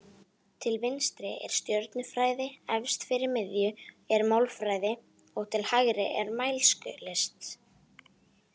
Til vinstri er stjörnufræði, efst fyrir miðju er málfræði og til hægri er mælskulist.